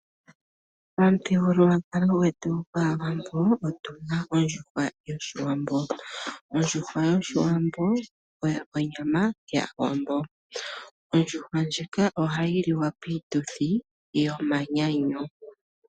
Momuthigululwakalo gwetu gwaawambo otuna ondjuhwa yoshiwambo. Ondjuhwa oyo onyama yaawambo. Ondjuhwa ndjika ohayi li wa piituthi yomanyanyu.